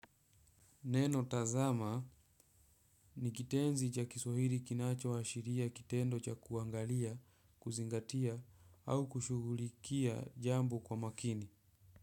Neno tazama ni kitenzi cha kiswahili kinachoashiria kitendo cha kuangalia, kuzingatia au kushughulikia jambo kwa makini.